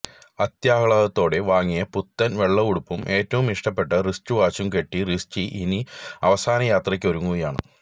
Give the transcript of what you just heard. അത്യാഹ്ലാദത്തോടെ വാങ്ങിയ പുത്തന് വെള്ളയുടുപ്പും ഏറ്റവും ഇഷ്ടപ്പെട്ട റിസ്റ്റു വാച്ചും കെട്ടി റിസ്റ്റി ഇനി അവ സാനയാത്രയ്ക്കൊരുങ്ങുകയാണ്